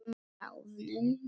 Bráðnum málmi.